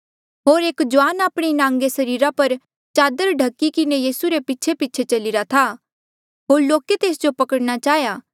होर एक जुआन आपणे नांगे सरीरा पर चादर ढखी किन्हें यीसू रे पीछेपीछे चल्लीरा था होर लोके तेस जो पकड़णा चाहेया